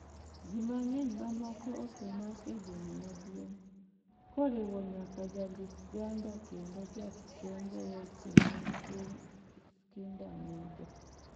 Ji mang'eny mamoko osemak e boma maduong', koriwo nyaka jandik-ganda kendo jakembo weche mag piny, Eskinder Nega.